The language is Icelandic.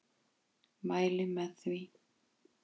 Mæli með því.